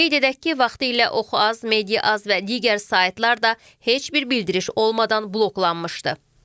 Qeyd edək ki, vaxtilə Oxu.az, Media.az və digər saytlar da heç bir bildiriş olmadan bloklanmışdı.